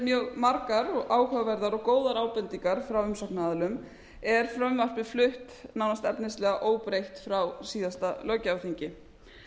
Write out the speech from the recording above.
mjög margar og áhugaverðar og góðar ábendingar frá umsagnaraðilum er frumvarpið flutt nánast efnislega óbreytt frá síðasta löggjafarþingi